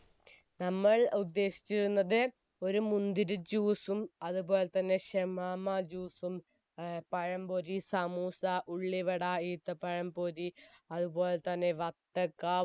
നമ്മൾ ഉദ്ദേശിച്ചിരുന്നത് ഒരു മുന്തിരി juice ഉം അതുപോലെത്തന്നെ ഷമമാ juice ഉം ഏർ പഴംപൊരി സമൂസ ഉള്ളിവട ഈത്തപ്പഴം പൊരി അതുപോലെ തന്നെ വത്തക്ക